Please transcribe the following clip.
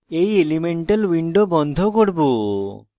এই elemental window বন্ধ করব